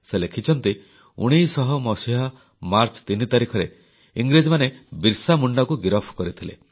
ସେ ଲେଖିଛନ୍ତି ଯେ 1900 ମସିହା ମାର୍ଚ୍ଚ 3 ତାରିଖରେ ଇଂରେଜମାନେ ବିର୍ସା ମୁଣ୍ଡାଙ୍କୁ ଗିରଫ କରିଥିଲେ